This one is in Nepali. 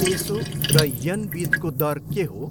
पेसो र येन बिचको दर के हो?